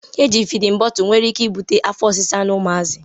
Eji fidin botul nwere ike ibute afọ osisa n'umuazi